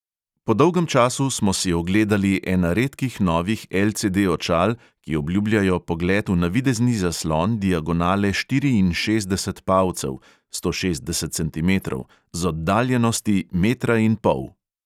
Po dolgem času smo si ogledali ena redkih novih LCD-očal, ki obljubljajo pogled v navidezni zaslon diagonale štiriinšestdeset palcev (sto šestdeset centimetrov) z oddaljenosti metra in pol.